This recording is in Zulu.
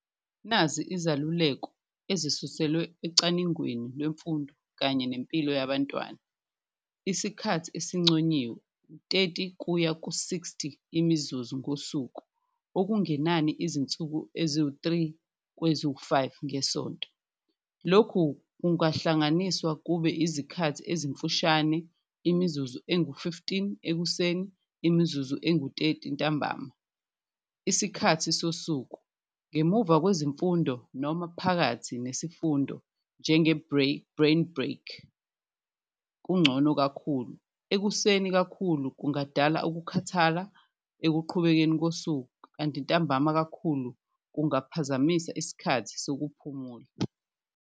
Nazi izaluleko ezisuselwe ecaningweni lwemfundo kanye nempilo yabantwana isikhathi esinconyiwe thirty kuya ku-sixty imizuzu ngosuku okungenani izinsuku eziwu-three kweziwu-five ngesonto, lokhu kungahlanganiswa kube izikhathi ezimfushane, imizuzu engu-fifteen ekuseni, umizuzu engu-thirty ntambama. Isikhathi sosuku ngemuva kwezemfundo noma phakathi nesifundo njenge brain break kuncono kakhulu, ekuseni kakhulu kungadala ukukhathala ekuqhubekeni kosuku, kanti ntambama kakhulu kungaphazamisa isikhathi sokuphumula.